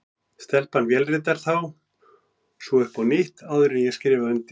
Stelpan vélritar þá svo upp á nýtt, áður en ég skrifa undir.